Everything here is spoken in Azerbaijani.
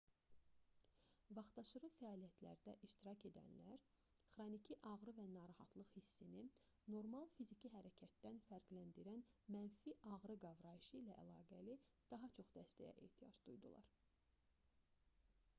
vaxtaşırı fəaliyyətlərdə iştirak edənlər xroniki ağrı və narahatlıq hissini normal fiziki hərəkətdən fərqləndirən mənfi ağrı qavrayışı ilə əlaqəli daha çox dəstəyə ehtiyac duydular